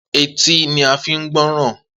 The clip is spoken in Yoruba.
Etí ni a fi ń gbọ́ràn.